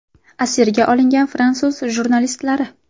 Asirga olingan fransuz jurnalistlari.